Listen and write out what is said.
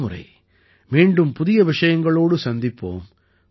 அடுத்த முறை மீண்டும் புதிய விஷயங்களோடு சந்திப்போம்